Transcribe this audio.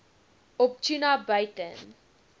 op tuna buiten